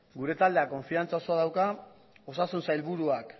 gure taldeak konfidantza osoa dauka osasun sailburuak